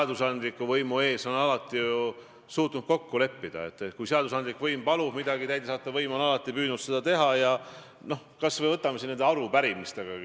Ta kontrollib kõike alates toiduohutusest, prokuratuurist, politseist ja kohtust kuni teaduseni välja ja kui miski talle ei meeldi, siis võtab ta sõna, ja ta võtab alati sõna nii, et see oleks talle poliitiliselt kasulik.